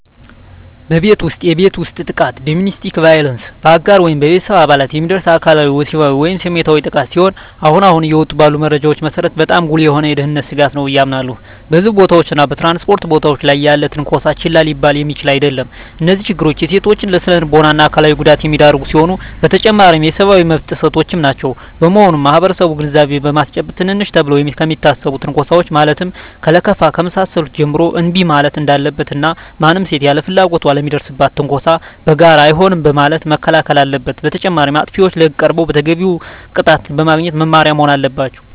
በቤት ውስጥ የቤት ውስጥ ጥቃት (Domestic Violence): በአጋር ወይም በቤተሰብ አባላት የሚደርስ አካላዊ፣ ወሲባዊ ወይም ስሜታዊ ጥቃት ሲሆን አሁን አሁን እየወጡ ባሉ መረጃዎች መሰረት በጣም ጉልህ የሆነ የደህንነት ስጋት ነው ብየ አምናለሁ። በሕዝብ ቦታዎች እና በ ትራንስፖርት ቦታወች ላይ ያለም ትነኮሳ ችላ ሊባል የሚችል አደለም። እነዚህ ችግሮች ሴቶችን ለስነልቦና እና አካላዊ ጉዳት የሚዳርጉ ሲሆኑ በተጨማሪም የሰብአዊ መብት ጥሰቶችም ናቸው። በመሆኑም ማህበረሰቡን ግንዛቤ በማስጨበጥ ትንንሽ ተብለው ከሚታሰቡ ትንኮሳወች ማለትም ከለከፋ ከመሳሰሉት ጀምሮ እንቢ ማለት እንዳለበት እና ማንም ሴት ያለ ፍላጎቷ ለሚደርስባት ትንኮሳ በጋራ አይሆንም በማለት መከላከል አለበት። በተጨማሪም አጥፊዎች ለህግ ቀርበው ተገቢውን ቅጣት በማግኘት መማሪያ መሆን አለባቸው።